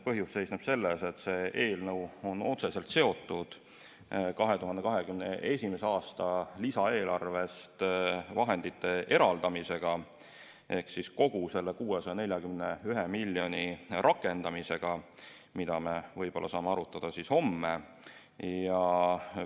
Põhjus seisneb selles, et see eelnõu on otseselt seotud 2021. aasta lisaeelarvest vahendite eraldamisega ehk siis kogu selle 641 miljoni euro rakendamisega, mida me võib-olla saame homme arutada.